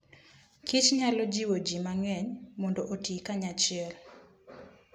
kich nyalo jiwo ji mang'eny mondo oti kanyachiel.